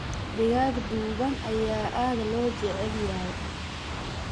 Digaag duban ayaa aad loo jecel yahay.